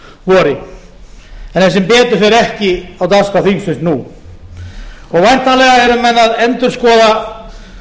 er sem betur fer ekki á dagskrá þingsins nú og væntanlega eru menn að endurskoða